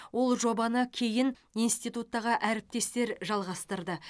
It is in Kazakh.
ол жобаны кейін институттағы әріптестер жалғастырды